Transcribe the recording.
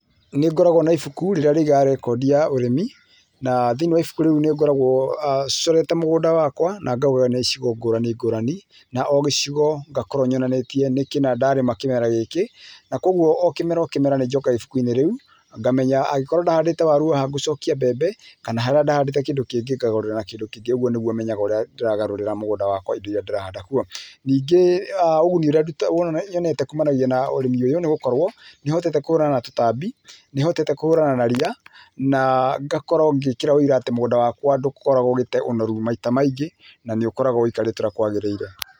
Nĩngoragwo na ibuku rĩrĩa rĩigaga rekondi ya ũrĩmi na thĩiniĩ wa ibuku rĩu nĩngoragwo corete mũgũnda wakwa na gaũgayania icigo ngũrani ngũrani na o gĩcigo ngakorwo nyonanĩtie nĩ kĩna ndarĩma kĩmera gĩkĩ na kwoguo o kĩmera o kĩmera nĩ njokaga ibukuinĩ rĩu ngamenya angĩkorwo ndahandĩte waru haha gũcokia mbembe kana harĩa ndahandĩte kĩndũ kĩngĩ ngagarũrĩra na kĩndũ kĩngĩ. Ũguo nĩguo menyaga ũrĩa ndĩragarũrĩra mũgũnda wakwa indo irĩa ndĩrahanda kuo. Nĩngĩ ũguni ũrĩa nyonete kumanagia na ũrĩmi ũyũ nĩ gũkorwo nĩ hotete kũhũrana na tũtambi, nĩhotete kũhũrana na ria na ngakorwo ngĩkĩra ũira atĩ mũgũnda wakwa ndũkoragwo ũgĩte ũnoru maita maingĩ na nĩũkoragwo ũikarĩte ũria kwagĩrĩire.